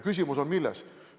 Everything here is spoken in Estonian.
Küsimus on milles?